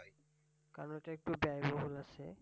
আর ওইটা একটু ব্যব্যয়বহুল আছে।